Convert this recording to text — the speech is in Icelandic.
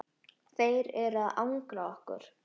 Þeir eru að angra okkur.